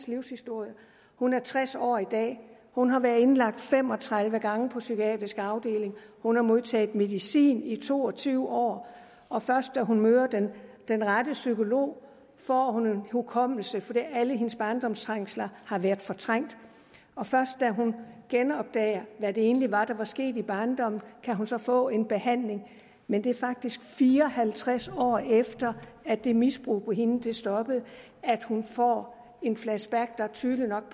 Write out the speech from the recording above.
livshistorie hun er tres år i dag hun har været indlagt fem og tredive gange på psykiatrisk afdeling hun har modtaget medicin i to og tyve år og først da hun møder den rette psykolog får hun en hukommelse for alle hendes barndoms trængsler har været fortrængt og først da hun genopdager hvad det egentlig var der skete i barndommen kan hun så få en behandling men det er faktisk fire og halvtreds år efter at det misbrug mod hende stoppede at hun får et flashback der tydeligt nok